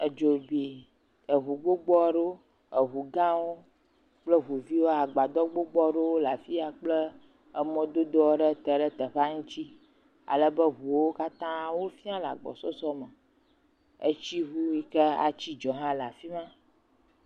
Edzo bi eŋu gbogbo aɖewo. Eŋugãwo kple ŋuviwo. Agbadɔ gbogbo aɖewo le afia kple emɔdodo aɖe te ɖe teƒea ŋutsi. Alebe ŋwo katã wofiã le agbɔsɔsɔme. Etsiŋu Ii ke atsi dzo hã le afi ma.